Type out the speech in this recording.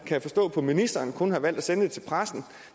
kan forstå at ministeren kun har valgt at sende det til pressen